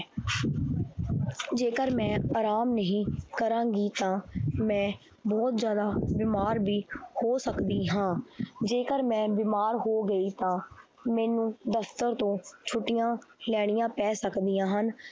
ਜੇਕਰ ਮੈਂ ਆਰਾਮ ਨਹੀਂ ਕਰਾਂਗੀ ਤਾਂ ਬਹੁਤ ਜ਼ਿਆਦਾ ਬਿਮਾਰ ਵੀ ਹੋ ਸਕਦੀ ਹਾਂ ਜੇਕਰ ਮੈਂ ਬਿਮਾਰ ਹੋ ਗਈ ਤਾਂ ਮੈਨੂੰ ਦਫ਼ਤਰ ਤੋਂ ਛੁੱਟੀਆਂ ਲੈਣੀਆਂ ਪੈ ਸਕਦੀਆਂ ਹਨ।